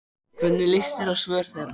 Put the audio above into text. Hvernig lýst þér á svör þeirra?